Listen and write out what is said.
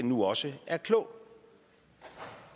nu også er klog